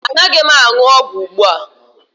Anaghị m aṅụ ọgwụ ugbu a